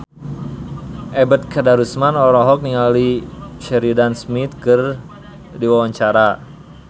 Ebet Kadarusman olohok ningali Sheridan Smith keur diwawancara